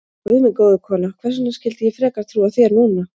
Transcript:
Guð minn góður, kona, hvers vegna skyldi ég frekar trúa þér núna?